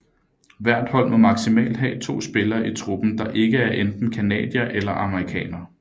Hvert hold må maksimalt have 2 spillere i truppen der ikke er enten canadier eller amerikaner